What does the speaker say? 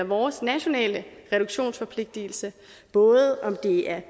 vores nationale reduktionsforpligtelse både om det er